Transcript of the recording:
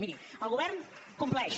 miri el govern compleix